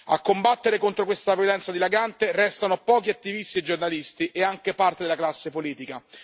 A combattere contro questa violenza dilagante restano pochi attivisti e giornalisti e anche parte della classe politica.